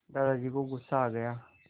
दादाजी को गुस्सा आ गया